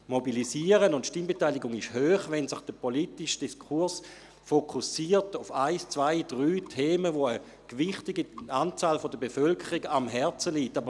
Die Mobilisierung und die Stimmbeteiligung sind hoch, wenn sich der politische Diskurs auf ein, zwei oder drei Themen fokussiert, die einem gewichtigen Teil der Bevölkerung am Herzen liegen.